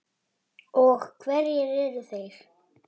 Og hverjir eru þeir?